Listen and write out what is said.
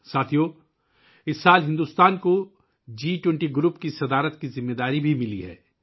ساتھیو ، اس سال بھارت کو جی 20 گروپ کی صدارت کی ذمہ داری بھی ملی ہے